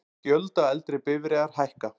Gjöld á eldri bifreiðar hækka